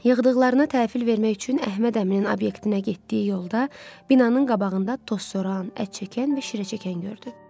Yığdıqlarını təhvil vermək üçün Əhməd Əminin obyektinə getdiyi yolda binanın qabağında tozsoran, ətçəkən və şirəçəkən gördü.